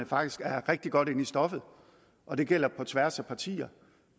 faktisk er rigtig godt inde i stoffet og det gælder på tværs af partier